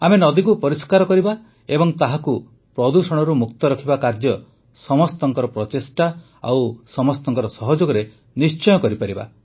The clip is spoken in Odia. ଆମେ ନଦୀକୁ ପରିଷ୍କାର କରିବା ଓ ତାହାକୁ ପ୍ରଦୂଷଣରୁ ମୁକ୍ତ ରଖିବା କାର୍ଯ୍ୟ ସମସ୍ତଙ୍କ ପ୍ରଚେଷ୍ଟା ଏବଂ ସମସ୍ତଙ୍କ ସହଯୋଗରେ ନିଶ୍ଚୟ କରିପାରିବା